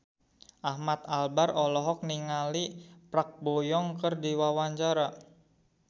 Ahmad Albar olohok ningali Park Bo Yung keur diwawancara